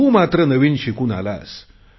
तू मात्र नवीन शिकून आलास